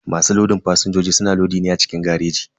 Masu lodin fasinjoji suna lodi ne a cikin gareji.